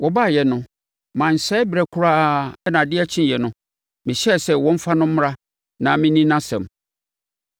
Wɔbaeɛ no mansɛe berɛ koraa na adeɛ kyeeɛ no, mehyɛɛ sɛ wɔmfa no mmra na menni nʼasɛm.